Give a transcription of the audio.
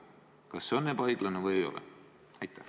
Kas see on ebaõiglane või ei ole?